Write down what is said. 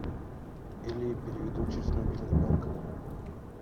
или переведу через мобильный банк